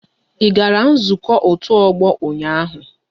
I gara nzukọ otu ọgbọ ụnyaahụ?